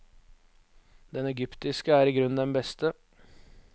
Den egyptiske er igrunn den beste.